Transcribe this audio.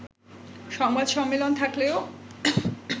সংবাদ সম্মেলন থাকলেও